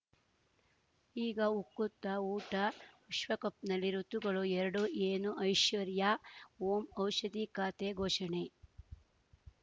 ಈಗ ಉಕುತ ಊಟ ವಿಶ್ವಕಪ್‌ನಲ್ಲಿ ಋತುಗಳು ಎರಡು ಏನು ಐಶ್ವರ್ಯಾ ಓಂ ಔಷಧಿ ಖಾತೆ ಘೋಷಣೆ